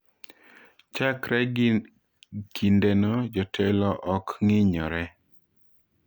Chakre kindeno, jotelo ok ng’iyore.